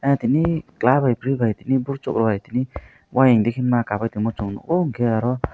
tini chwla by bwri bi ghir choklai tini wah endi ke ma kap chungo o gair o.